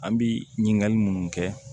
An bɛ ɲininkali munnu kɛ